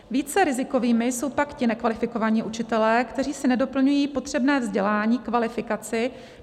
Více rizikovými jsou pak ti nekvalifikovaní učitelé, kteří si nedoplňují potřebné vzdělání, kvalifikaci.